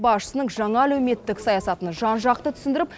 басшысының жаңа әлеуметтік саясатын жан жақты түсіндіріп